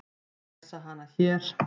Lesa hana hér.